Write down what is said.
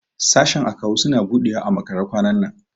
Sashen Akawu suna buɗewa a makare kwanan nan.